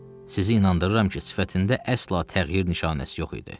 Sizi inandırıram ki, sifətində əsla təğyir nişanəsi yox idi.